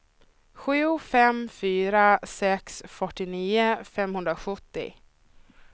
sju fem fyra sex fyrtionio femhundrasjuttio